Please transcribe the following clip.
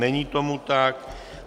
Není tomu tak.